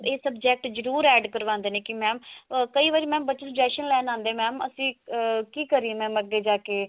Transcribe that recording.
ਇਹ subject ਜਰੁਰ add ਕਰਵਾਉਂਦੇ ਨੇ ਕੀ mam ਕਈ ਵਾਰੀ ਬੱਚੇ suggestion ਲੈਣ ਆਉਂਦੇ mam ਅਸੀਂ ah ਕੀ ਕਰੀਏ mam ਅੱਗੇ ਜਾ ਕਿ